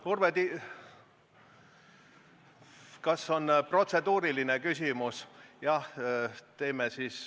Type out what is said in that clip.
Urve Tiidus, kas on protseduuriline küsimus?